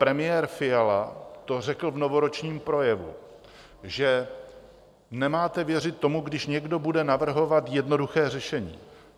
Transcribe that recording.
Premiér Fiala to řekl v novoročním projevu, že nemáte věřit tomu, když někdo bude navrhovat jednoduché řešení.